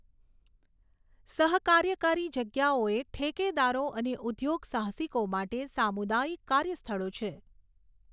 સહકાર્યકારી જગ્યાઓ એ ઠેકેદારો અને ઉદ્યોગસાહસિકો માટે સામુદાયિક કાર્યસ્થળો છે.